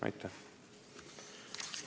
Aitäh!